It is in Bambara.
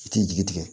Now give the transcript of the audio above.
I tɛ jigi tigɛ